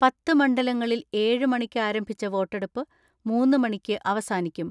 പത്ത് മണ്ഡല ങ്ങളിൽ ഏഴ് മണിക്ക് ആരംഭിച്ച വോട്ടെടുപ്പ് മൂന്ന് മണിക്ക് അവസാനിക്കും.